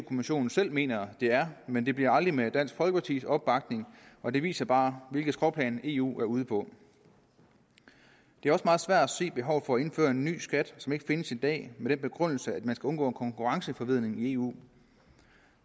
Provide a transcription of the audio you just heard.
kommissionen selv mener det er men det bliver aldrig med dansk folkepartis opbakning og det viser bare hvilket skråplan eu er ude på det er også meget svært at se behovet for at indføre en ny skat som ikke findes i dag med den begrundelse at man skal undgå konkurrenceforvridning i eu